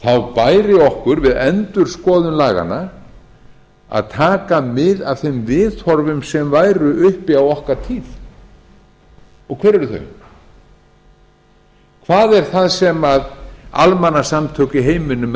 bæri okkur við endurskoðun laganna að taka mið af þeim viðhorfum sem væru uppi á okkar tíð hver eru þau hvað er það sem almannasamtök í heiminum eru